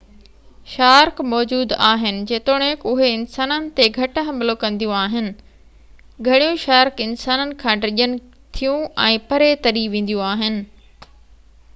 shark موجود آهن جيتوڻڪ اهي انسانن تي گهٽ حملو ڪنديون آهن گھڻيون شارڪ انسانن کان ڊڄن ٿيون ۽ پري تري وينديون آهن